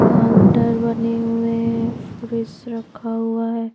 Counter बने हुए हैं फ्रिज रखा हुआ है ।